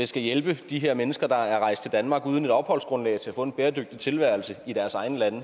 skal hjælpe de her mennesker der er rejst til danmark uden et opholdsgrundlag til at få en bæredygtig tilværelse i deres egne lande